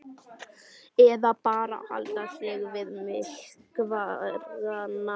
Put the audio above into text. Eða bara halda sig við mælikvarðana?